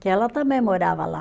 Que ela também morava lá.